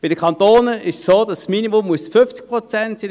Bei den Kantonen ist es so, dass das Minimum 50 Prozent sein muss.